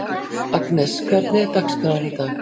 Agnes, hvernig er dagskráin í dag?